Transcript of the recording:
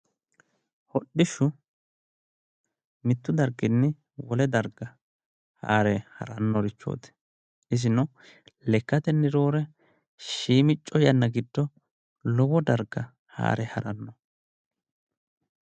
Hodhishshu mittu darginni wole darga haare harannorichooti. isino lekkatenni roore shiimicco yanna giddo lowo darga haare haranno.